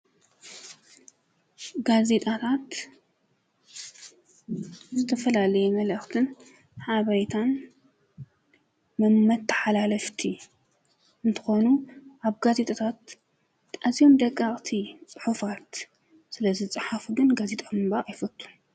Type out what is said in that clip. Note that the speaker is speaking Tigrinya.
ጋዜ ጣታት ዝተፈላለየ መልእኽትን ሓበሬታን መመተኃላለፍቲ እንተኾኑ ኣብ ጋዜጣታት አዚዮም ደቃቕቲ ፅሑፋት ስለ ዝፀሓፉ ጋዜጣ ይፈቱ::